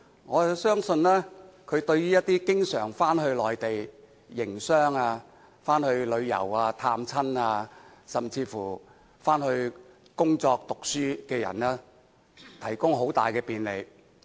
我相信，對於一些經常往返內地營商、旅遊、探親，甚至工作、讀書的人，這項安排將提供很大便利。